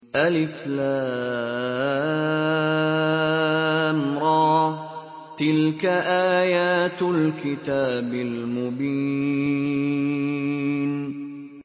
الر ۚ تِلْكَ آيَاتُ الْكِتَابِ الْمُبِينِ